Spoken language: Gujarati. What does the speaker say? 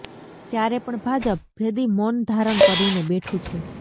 ત્યારે પણ ભાજપ ભેદી મૌન ધારણ કરીને બેઠું છે